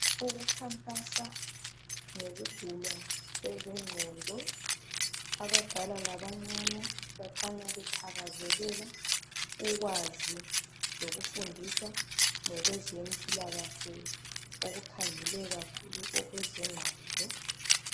Ukukhankasa ngokugulwa kwezingqondo. Abadala labancane bakhanya bethakazelela ukwazi lokufundiswa ngokwezempilakahle okukhangele kakhulu okwezengqondo.